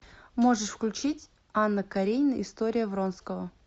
можешь включить анна каренина история вронского